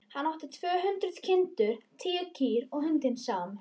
Hann átti tvö hundruð kindur, tíu kýr og hundinn Sám.